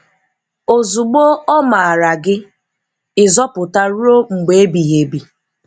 Òzugbọ̀ ọ̀ maara gị, ị̀ zọpụtaa ruo mgbe ebighị̀ ebi.